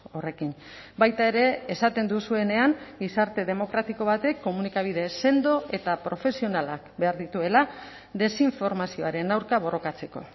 horrekin baita ere esaten duzuenean gizarte demokratiko batek komunikabide sendo eta profesionalak behar dituela desinformazioaren aurka borrokatzeko